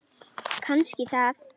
Kannski það.